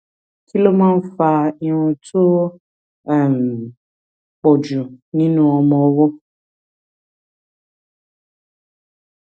kí ló máa ń fa irun tó um pò jù nínú ọmọ ọwó